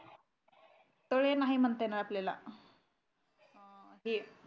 तळे नाही म्हणता येईल आपल्याला अं हे